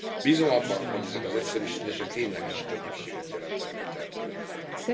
Bízom abban, hogy ezek az egyszerűsítések tényleges könnyebbséget jelentenek a termelők felé.